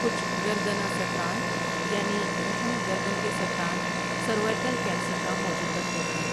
کچھ گردنہ سرطان یعنی رحم گردن کے سرطان سرویکل کینسر کا موجب بنتے ہیں ۔